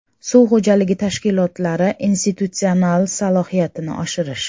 Suv xo‘jaligi tashkilotlari institutsional salohiyatini oshirish.